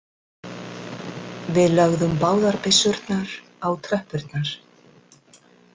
Við lögðum báðar byssurnar á tröppurnar.